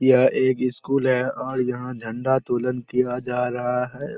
यह एक इस्कूल है और यहाँ झंडा तुलन किया जा रहा है।